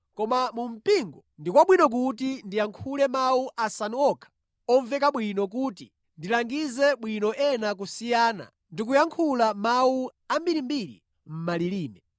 Koma mu mpingo ndi kwabwino kuti ndiyankhule mawu asanu okha omveka bwino kuti ndilangize bwino ena kusiyana ndikuyankhula mawu ambirimbiri mʼmalilime.